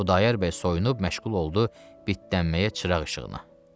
Xudayar bəy soyunub məşğul oldu bitlənməyə çıraq işığına.